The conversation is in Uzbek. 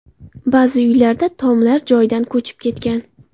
Ba’zi uylarda tomlar joyidan ko‘chib ketgan.